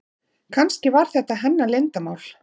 Kannski var þetta hennar leyndarmál.